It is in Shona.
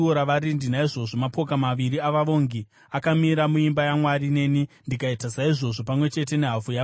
Naizvozvo mapoka maviri avavongi akamira muimba yaMwari, neni ndikaita saizvozvo, pamwe chete nehafu yavabati,